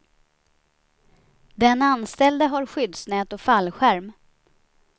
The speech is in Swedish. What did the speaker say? Den anställde har skyddsnät och fallskärm.